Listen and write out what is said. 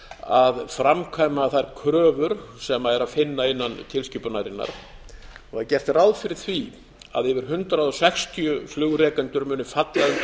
að framkvæma þær kröfur sem er að finna innan tilskipunarinnar það er gert ráð fyrir því að yfir hundrað sextíu flugrekendur munu falla undir ábyrgð